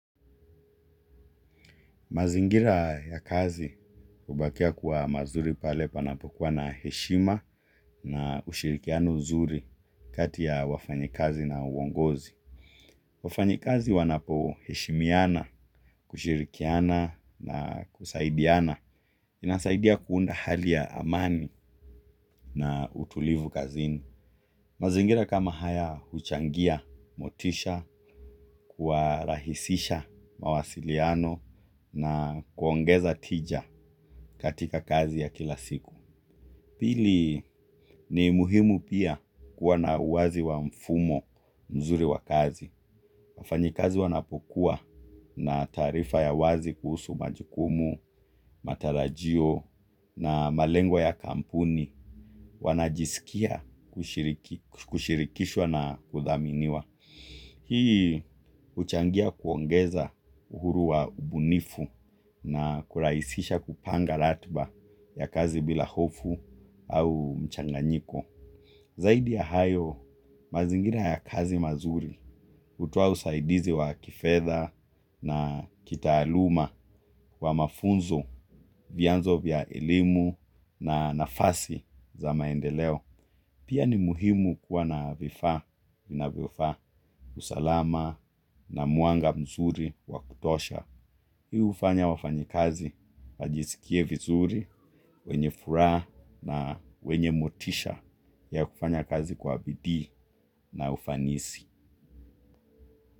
Mazingira ya kazi hubakia kuwa mazuri pale panapokuwa na heshima na ushirikiano mzuri kati ya wafanyakazi na uongozi. Wafanyikazi wanapoheshimiana, kushirikiana na kusaidiana. Inasaidia kuunda hali ya amani na utulivu kazini. Mazingira kama haya huchangia, motisha, kuwa rahisisha mawasiliano na kuongeza tija katika kazi ya kila siku. Pili, ni muhimu pia kuwa na uwazi wa mfumo mzuri wa kazi. Wafanyikazi wanapokuwa na taarifa ya uwazi kuhusu majikumu, matarajio na malengwa ya kampuni. Wanajisikia kushirikishwa na kuthaminiwa. Hii huchangia kuongeza uhuru wa ubunifu na kurahisisha kupanga ratiba ya kazi bila hofu au mchanganyiko. Zaidi ya hayo mazingira ya kazi mazuri hutoa usaidizi wa kifedha na kitaaluma wa mafunzo vianzo vya elimu na nafasi za maendeleo. Pia ni muhimu kuwa na vifaa vinavyofaa, usalama na mwanga mzuri wakutosha. Hiu hufanya wafanyikazi, wajisikie vizuri, wenye furaha na wenye motisha ya kufanya kazi kwa bidii na ufanisi.